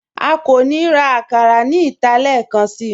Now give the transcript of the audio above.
À kò ní rá àkàrà ní ìtà lẹẹkànṣí